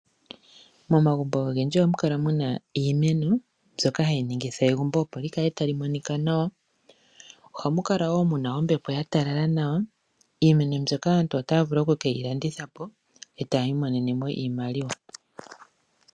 Momagumbo ogendji ohamu kala muna iimeno mbyoka hayi ningitha egumbo opo li kale tali monika nawa. Ohamu kala wo muna ombepo ya talala nawa. Iimeno mbyoka aantu ota ya vulu oku keyi landitha po, e tayi imonene mo iimaliwa.